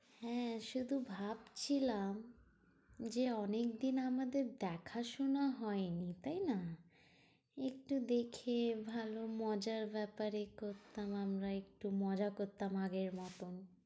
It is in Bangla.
হ্যাঁ শুধু ভাবছিলাম যে অনেক দিন আমাদের দেখাশোনা হয়নি তাই না? একটু দেখে ভালো মজার ব্যাপারে করতাম আমরা একটু মজা করতাম আগের মতন।